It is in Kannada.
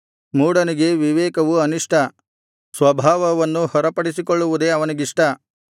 ಮೂಢನಿಗೆ ವಿವೇಕವು ಅನಿಷ್ಟ ಸ್ವಭಾವವನ್ನು ಹೊರಪಡಿಸಿಕೊಳ್ಳುವುದೇ ಅವನಿಗಿಷ್ಟ